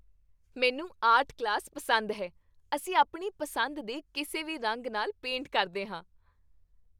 ਮੈਨੂੰ art class ਪਸੰਦ ਹੈ। ਅਸੀਂ ਆਪਣੀ ਪਸੰਦ ਦੇ ਕਿਸੇ ਵੀ ਰੰਗ ਨਾਲ ਪੇਂਟ ਕਰਦੇ ਹਾਂ।